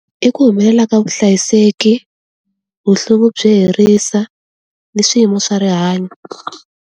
I ku humelela ka vuhlayiseki, byo herisa, ni swi swiyimo swa rihanyo.